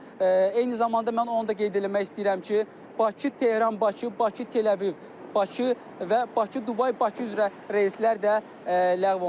Eyni zamanda mən onu da qeyd eləmək istəyirəm ki, Bakı-Tehran, Bakı, Bakı-Teləviv, Bakı və Bakı-Dubay, Bakı üzrə reyslər də ləğv olunub.